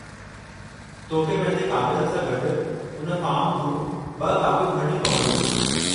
तोखे पंहिंजे कागरनि सां गॾु उन फ़ॉर्मु जूं ब॒ कापियूं भरणियूं पवंदियूं।